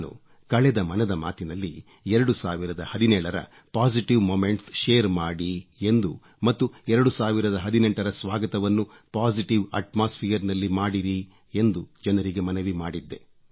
ನಾನು ಕಳೆದ ಮನದ ಮಾತಿನಲ್ಲಿ 2017 ರ ಪೊಸಿಟಿವ್ ಮೊಮೆಂಟ್ಸ್ ಶೇರ್ ಮಾಡಿ ಎಂದು ಮತ್ತು 2018 ರ ಸ್ವಾಗತವನ್ನು ಪೊಸಿಟಿವ್ ಅಟ್ಮಾಸ್ಫಿಯರ್ ನಲ್ಲಿ ಮಾಡಿರಿ ಎಂದು ಜನರಿಗೆ ಮನವಿ ಮಾಡಿದ್ದೆ